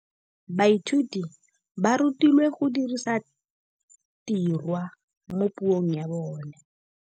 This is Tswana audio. Baithuti ba rutilwe go dirisa tirwa mo puong ya bone.